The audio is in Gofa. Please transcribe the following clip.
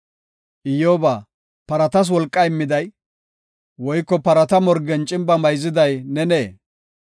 “Iyyoba, paratas wolqaa immiday, woyko parata morgen cimba mayziday nenee?